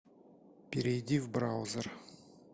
перейди в браузер